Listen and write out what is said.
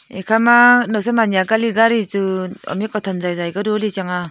ekhama nawsam anya kali gari chu amik othan jaijai ka doli chang aa.